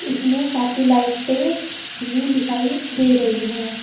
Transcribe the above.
इसमें काफी लाइट भी दिखाई दे रही हैं।